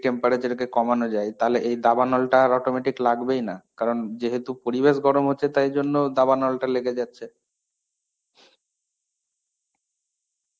temparature কে কমানো যায় তাহলে এই দাবানলটা আর autometic লাগবেইনা.কারণ যেহেতু পরিবেশ গরম হচ্ছে তাইজন্য দাবানলটা লেগে যাচ্ছে.